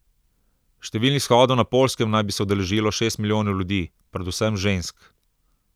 Številnih shodov na Poljskem naj bi se udeležilo šest milijonov ljudi, predvsem žensk.